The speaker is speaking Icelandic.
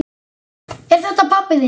Er þetta pabbi þinn?